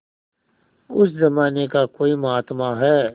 उस जमाने का कोई महात्मा है